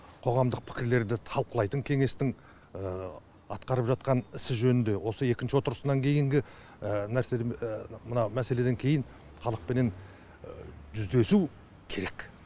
қоғамдық пікірлерді талқылайтын кеңестің атқарып жатқан ісі жөнінде осы екінші отырысынан кейінгі нәрсе мына мәселеден кейін халықпенен жүздесу керек